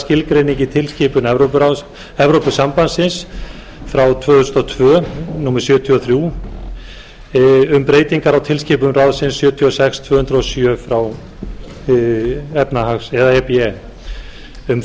skilgreiningu tilskipunar evrópusambandsins tvö þúsund og tvö sjötíu og þrjú e b um breytingu á tilskipun ráðsins sjötíu og sex tvö hundruð og sjö e b e um